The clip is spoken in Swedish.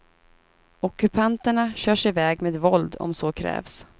Ockupanterna körs iväg med våld om så krävs.